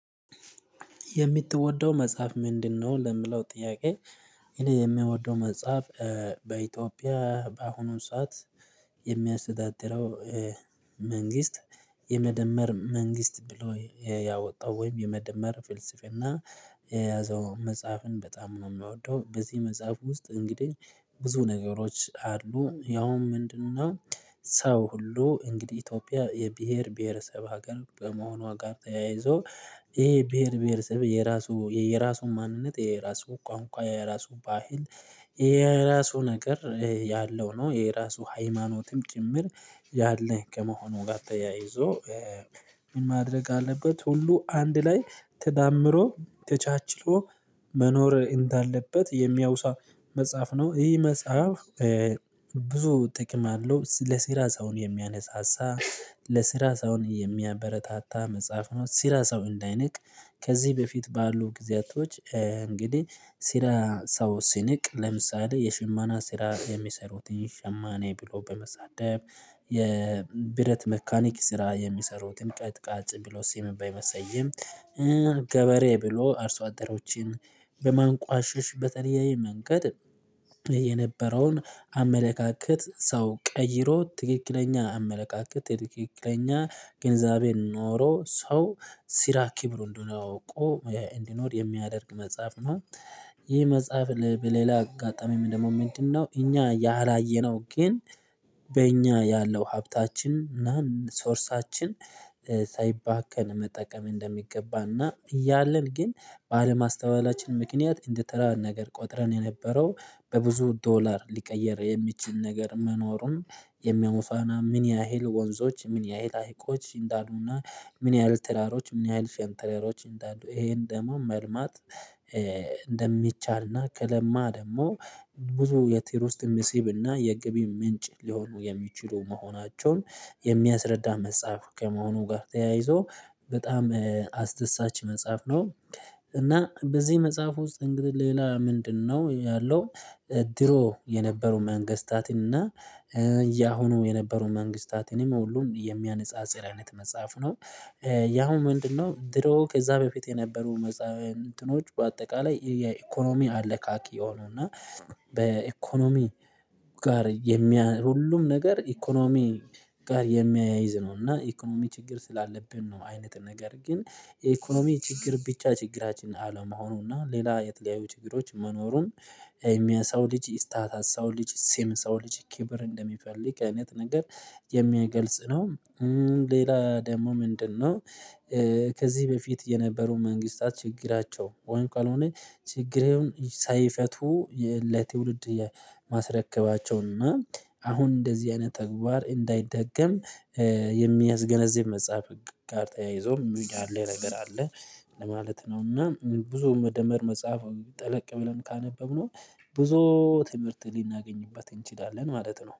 የምትወደው መጽሐፍ ምንድነው? ለምለው ጥያቄ የምወደው መጽሐፍ በኢትዮጵያ በአሁኑ ሰዓት የሚያስተዳድረው መንግስት የመደመር መንግስት ብሎ ያወጣው ወይም የመደመር ፍልስፍና የያዘውን መጽሐፍን በጣም ነው የምወደው። በዚህ መጽሐፍ ውስጥ እንግዲህ ብዙ ነገሮች አሉ ያውም ምንድነው ሰው ሁሉ እንግዲህ ኢትዮጵያ የብሄር ብሄረሰብ ሀገር በመሆኗ ጋር ተያይዞ ይሄ ብሄር ብሄረሰብ የራሱ የየራሱን ማንነት የራሱ ቋንቋ የራሱ ባህል የራሱ ነገር ያለው ነው። የራሱ ሃይማኖትም ጭምር ያለህ ከመሆኑ ጋር ተያይዞ ምን ማድረግ አለበት ሁሉ አንድ ላይ ተዳምሮ ተቻችሎ መኖር እንዳለበት የሚያውሳ መጽሐፍ ነው። ይህ መጽሐፍ ብዙ ጥቅም አለው ለሲራ ሰውን የሚያነሳሳ ለስራ ሰውን የሚያበረታታ መጽሐፍ ነው። ሲራ ሰው እንዳይንቅ ከዚህ በፊት ባሉ ጊዜያቶች እንግዲህ ሲራ ሰው ሲንቅ ለምሳሌ የሽመና ስራ የሚሰሩትን ሸማኔ ብሎ በመሳደብ የብረት መካኒክ ስራ የሚሰሩትን ቀጥቃጭ ብሎ ሲም በመሰየም ገበሬ ብሎ አርሶ አደሮችን በማንቋሸሽ በተለያየ መንገድ የነበረውን አመለካከት ሰው ቀይሮ ትክክለኛ አመለካከት ትክክለኛ ግንዛቤ ኖሮ ሰው ሲራ ኪብሩ እንደሆነ አውቆ እንዲኖር የሚያደርግ መጽሐፍ ነው። ይህ መጽሐፍ በሌላ አጋጣሚ ደግሞ ምንድነው እኛ ያላየነው ግን በእኛ ያለው ሀብታችን እና ሶርሳችን ሳይባከን መጠቀም እንደሚገባና እያለን ግን ባለማስተዋላችን ምክንያት እንደተራ ነገር ቆጥረን የነበረው በብዙ ዶላር ሊቀየር የሚችል ነገር መኖሩም የሚያሙፋና ምን ያህል ወንዞች ምን ያህል ሀይቆች እንዳሉና ምን ያህል ተራሮች ምን ያህል ሸንተረሮች እንዳሉ ይሄን ደግሞ መልማት እንደሚቻልና ከለማ ደግሞ ብዙ የቲሩስት ምሲብና የገቢ ምንጭ ሊሆኑ የሚችሉ መሆናቸውን የሚያስረዳ መጽሐፍ ከመሆኑ ጋር ተያይዞ በጣም አስደሳች መጽሐፍ ነው። እና በዚህ መጽሐፍ ውስጥ እንግዲህ ሌላ ምንድነው ያለው ድሮ የነበሩ መንግስታትን እና ያሁኑ የነበሩ መንግስታትንም ሁሉ የሚያነጻጽር አይነት መጽሐፍ ነው። ያሁን ምንድነው ድሮ ከዛ በፊት የነበሩ መጽሐፍ እንትኖች በአጠቃላይ የኢኮኖሚ አለካኪ የሆኑና በኢኮኖሚ ጋር የሚያ ሁሉም ነገር ኢኮኖሚ ጋር የሚያይዝ ነው እና ኢኮኖሚ ችግር ስላለብን ነው አይነት ነገር ግን የኢኮኖሚ ችግር ብቻ ችግራችንን አለመሆኑና ሌላ የተለያዩ ችግሮች መኖሩም የሚያሳው ልጅ ኢስታታ ሰው ልጅ ሲም ሰው ልጅ ኪብር እንደሚፈልግ አይነት ነገር የሚገልጽ ነው። ሌላ ደግሞ ምንድነው ከዚህ በፊት የነበሩ መንግስታት ችግራቸው ወይም ካልሆነ ችግሬውን ሳይፈቱ ለትውልድ ማስረከባቸውና እና አሁን እንደዚህ አይነት ተግባር እንዳይደገም የሚያስገነዝብ መጽሐፍ ጋር ተያይዞ ሚውድ አለ ነገር አለ። ለማለት ነው እና ብዙ መደመር መጽሐፍ ጠለቅ ብለን ካነበብነው ብዙ ትምህርት ሊናገኝበት እንችላለን ማለት ነው